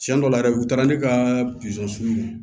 Tiɲɛ dɔw la yɛrɛ u taara ne ka